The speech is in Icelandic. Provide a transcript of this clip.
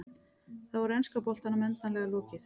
Þá er enska boltanum endanlega lokið.